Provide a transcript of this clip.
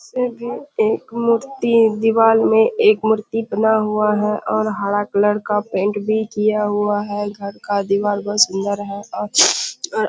ऐसे भी एक मूर्ति दीवार में एक मूर्ति बना हुआ है और हरा कलर का पेंट भी किया हुआ है। घर का दीवार बहोत सुंदर है और --